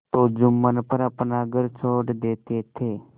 तो जुम्मन पर अपना घर छोड़ देते थे